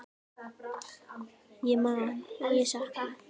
Ég man og ég sakna.